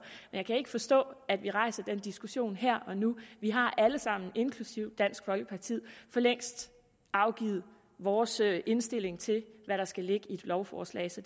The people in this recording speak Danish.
jeg kan ikke forstå at vi rejser den diskussion her og nu vi har alle sammen inklusive dansk folkeparti for længst afgivet vores indstilling til hvad der skal ligge i et lovforslag og så